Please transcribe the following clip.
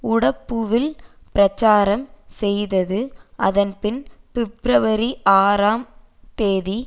உடப்புவில் பிரச்சாரம் செய்தது அதன் பின் பிப்ரவரி ஆறாம் தேதி